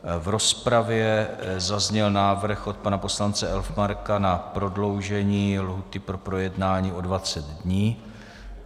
V rozpravě zazněl návrh od pana poslance Elfmarka na prodloužení lhůty pro projednání o 20 dní.